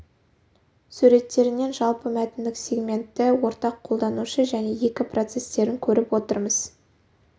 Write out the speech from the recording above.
суреттерінен жалпы мәтіндік сегментті ортақ қолданушы және екі процестерін көріп отырмыз